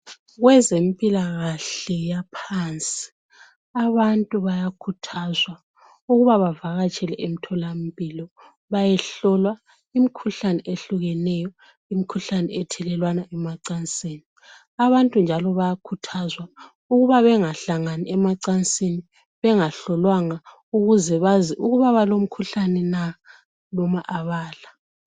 Kwezempilakahle yaphansi abantu bayakhuthazwa ukuba bavakatshele emtholampilo bayehlolwa imikhuhlane ehlukeneyo, imikhuhlane ethelelwana emacansini. Abantu njalo bayakhuthazwa ukuba bangahlangani emacansini bengahlolwanga ukuze bazi ukuba balomkhuhlane na noma abala.